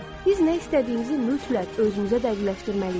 Biz nə istədiyimizi mütləq özümüzə dəqiqləşdirməliyik.